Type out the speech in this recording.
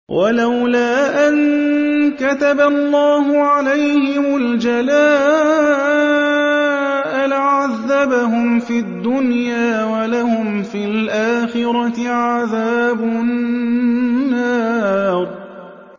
وَلَوْلَا أَن كَتَبَ اللَّهُ عَلَيْهِمُ الْجَلَاءَ لَعَذَّبَهُمْ فِي الدُّنْيَا ۖ وَلَهُمْ فِي الْآخِرَةِ عَذَابُ النَّارِ